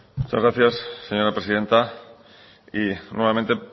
muchas gracias señora presidenta y nuevamente